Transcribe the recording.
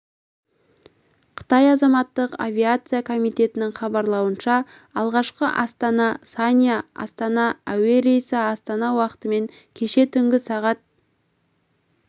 қытай азаматтық авиация комитетінің хабарлауынша алғашқы астана санья астана әуе рейсі астана уақытымен кеше түнгі сағат